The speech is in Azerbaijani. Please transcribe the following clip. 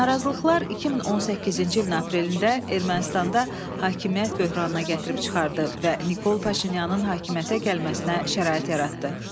Narazılıqlar 2018-ci ilin aprelində Ermənistanda hakimiyyət böhranına gətirib çıxardı və Nikol Paşinyanın hakimiyyətə gəlməsinə şərait yaratdı.